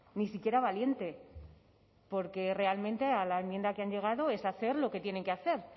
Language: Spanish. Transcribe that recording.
ni siquiera valiente porque realmente a la enmienda que han llegado es hacer lo que tienen que hacer